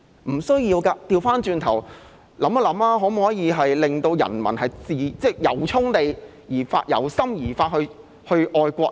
不需要這樣的，可否反過來令人民由衷地、由心而發地去愛國呢？